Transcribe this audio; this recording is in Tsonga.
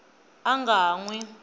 a nga ha n wi